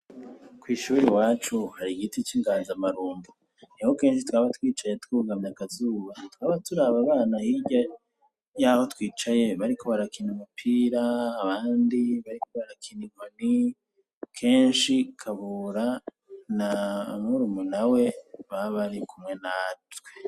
Kw'ishure iwacu hari igiti c'inganzamarumbo. Niho kenshi twaba twicaye twugamye akazuba, twaba turaba abana bari hirya y'aho twicaye bariko barakina agapira; abandi bariko barakina inkoni. Kenshi Kabura na murumunawe, baba bari kumwe natwe.